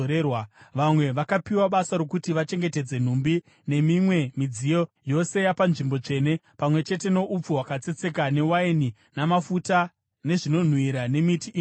Vamwe vakapiwa basa rokuti vachengetedze nhumbi nemimwe midziyo yose yapanzvimbo tsvene pamwe chete noupfu hwakatsetseka newaini, namafuta, nezvinonhuhwira nemiti inonhuhwira.